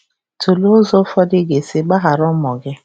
Tụlee ụzọ ụfọdụ ị ga-esi gbaghara ụmụ gị.